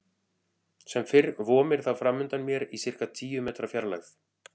Sem fyrr vomir það framundan mér í sirka tíu metra fjarlægð.